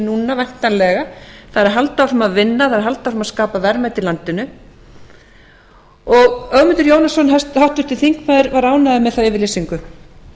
núna væntanlega það er að halda áfram að vinna halda áfram að skapa verðmæti í landinu og háttvirtur þingmaður ögmundur jónasson var ánægður með þá yfirlýsingu